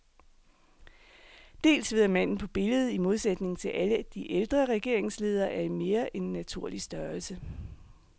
Dels ved at manden på billedet, i modsætning til alle de ældre regeringsledere, er i mere end naturlig størrelse.